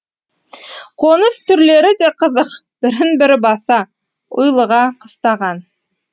қоныс түрлері де қызық бірін бірі баса ұйлыға қыстаған